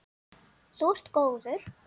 Þú ert góður.